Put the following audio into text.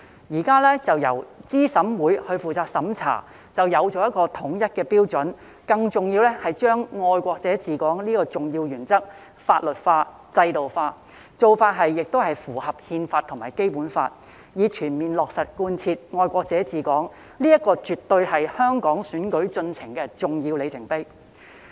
現時由資審會負責審查，便有統一的標準，更重要的是把"愛國者治港"這項重要原則法律化、制度化，做法亦符合《憲法》及《基本法》，以全面落實貫徹"愛國者治港"，這絕對是香港選舉進程的重要里程碑。